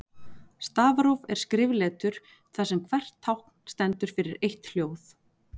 Stafróf er skrifletur þar sem hvert tákn stendur fyrir eitt hljóð.